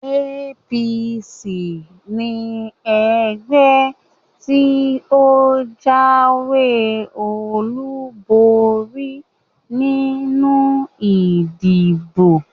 APC ni ẹgbẹ́ tí ó jáwé olúborí nínú ìdìbò